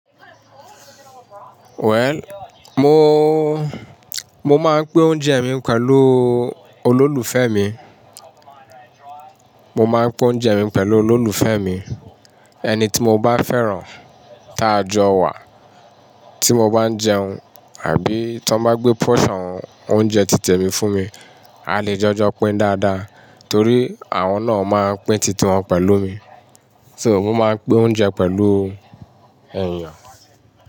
Well, mo, mo máa ń pín oúnjẹ mi pẹ̀lú olólùfẹ́ mi. Mo máa ń pín oúnjẹ mi pẹ̀lú olólùfẹ́ mi. Ẹni tí mo bá fẹ́ràn, tá jọ wà, tí mo bá ń jẹun àbí tí wọ́n bá gbé portion oúnjẹ tìtẹ̀ mi fún mi, a lè jọjọ pín dáadáa. Torí àwọn náà máa pín títí wọn pẹ̀lú mi. So mo máa ń pín oúnjẹ pẹ̀lú ènìyàn.